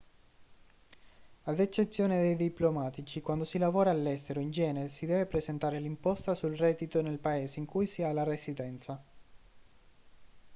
ad eccezione dei diplomatici quando si lavora all'estero in genere si deve presentare l'imposta sul reddito nel paese in cui si ha la residenza